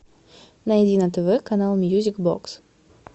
найди на тв канал мьюзик бокс